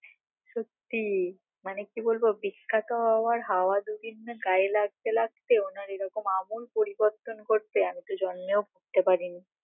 সত্যি মানে কি বলবো বিখ্যাত হবার হাওয়া দুদিন না গায়ে লাগতে লাগতে ওনার এরকম আমূল পরিবর্তন ঘটবে আমিতো জন্মেও ভাবতে পারিনি